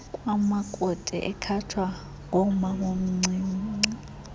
kamakoti ekhatshwa ngomamomncinci